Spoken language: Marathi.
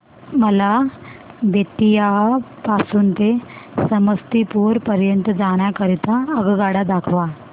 मला बेत्तीयाह पासून ते समस्तीपुर पर्यंत जाण्या करीता आगगाडी दाखवा